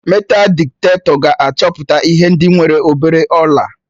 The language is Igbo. Meetal dịtektọ ga-achọpụta ihe ndị nwere obere ọla